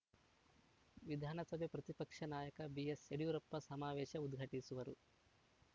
ವಿಧಾನಸಭೆ ಪ್ರತಿಪಕ್ಷ ನಾಯಕ ಬಿಎಸ್‌ಯಡಿಯೂರಪ್ಪ ಸಮಾವೇಶ ಉದ್ಘಾಟಿಸುವರು